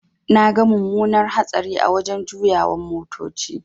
Naga mumunar hatsari a wajan juyawan motoci.